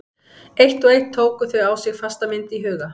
Eitt og eitt tóku þau á sig fasta mynd í huga